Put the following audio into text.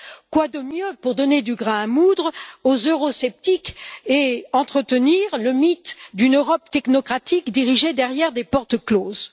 quoi de mieux pour donner du grain à moudre aux eurosceptiques et entretenir le mythe d'une Europe technocratique dirigée derrière des portes closes?